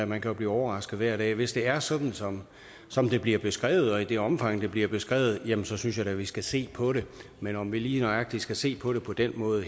man kan jo blive overrasket hver dag hvis det er sådan som som det bliver beskrevet og i det omfang det bliver beskrevet jamen så synes jeg da vi skal se på det men om vi lige nøjagtig skal se på det på den måde